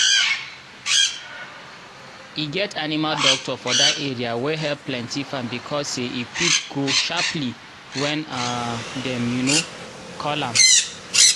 e get animal doctor for that area wey help plenty farm because say e quick go um when um dem um call am